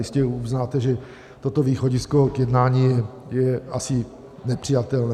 Jistě uznáte, že toto východisko k jednání je asi nepřijatelné.